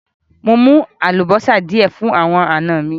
Mò mú àlúbọ́sá díẹ̀ fún àwọn ọ̀na mi.